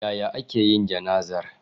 Yaya aka yi jana'izar?